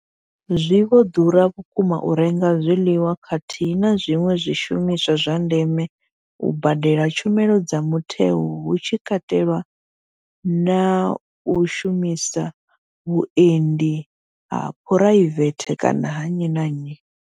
Zwi vho ḓura vhukuma u renga zwiḽiwa khathihi na zwiṅwe zwishumiswa zwa ndeme, u badela tshumelo dza mutheo hu tshi katelwa na u shumisa vhuendi ha phuraivethe kana ha nnyi na nnyi.